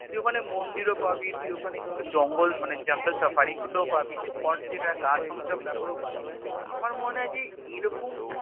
তুই ওখানে মন্দির ও পাবি তুই ওখানে কিন্তু জঙ্গল মানে Jungle safari গুলো ও পাবি তুই Haunted আর গা ছম ছম ব্যাপারও পাবি তো আমার মনে হয় যে এরকম একটা